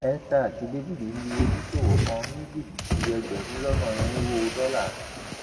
esther àti dávid lu oníṣòwò kan ní jìbìtì ẹgbẹrún lọnà irínwó dọlà